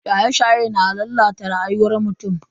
Shaye-shaye na lalata rayuwar mutum.